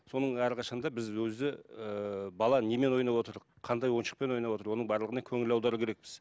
соның әрқашан да біз өзі ііі бала немен ойнап отыр қандай ойыншықпен ойнап отыр оның барлығына көңіл аудару керекпіз